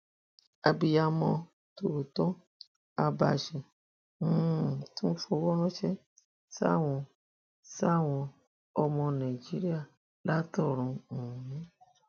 abiyamọ tòótọ abache um tún fọwọ ránṣẹ sáwọn sáwọn ọmọ nàìjíríà látọrun um